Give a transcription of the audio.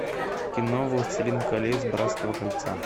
кино властелин колец братство кольца